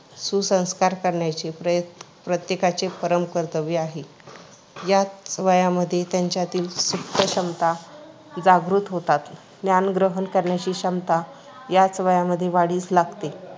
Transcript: सुसंस्कार करायचे प्रय प्रत्येकाचे परम कर्तव्य आहे. याच वयामध्ये त्याच्यातील सुप्तक्षमता जागृत होतात. ज्ञानग्रहण करण्याची क्षमता याच वयामध्ये वाढीस लागते.